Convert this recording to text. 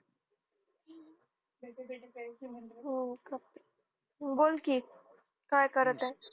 हम्म बोल कि काय करत आहे